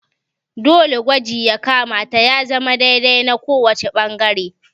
Dole gwaji ya kamata ya zama dai dai na kowace ɓangare